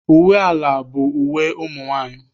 Uwe ala bụ uwe ụmụ nwaanyị.